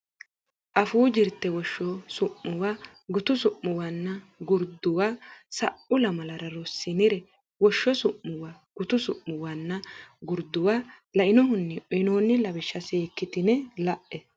Afuu Jirte Woshsho Su muwa Gutu Su muwanna Gurduwa Sa u lamala rossinire woshsho su muwa gutu su muwanna gurduwa lainohunni uynoonni lawishsha seekkitine la e.